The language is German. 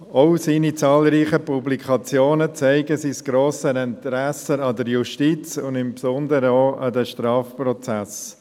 Auch seine zahlreichen Publikationen zeigen sein grosses Interesse an der Justiz und insbesondere an den Strafprozessen.